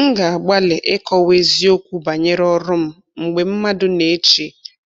M na-agbalị ịkọwa eziokwu banyere ọrụ m mgbe mmadụ na-eche